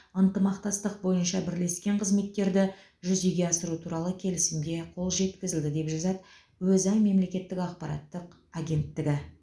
ынтымақтастық бойынша бірлескен қызметтерді жүзеге асыру туралы келісімге қол жеткізілді деп жазады өза мемлекеттік ақпараттық агенттігі